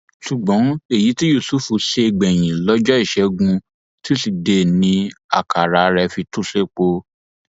ṣùgbọn èyí tí yusuf ṣe gbẹyìn lọjọ ìṣẹgun tusidee ni àkàrà rẹ fi tú sépo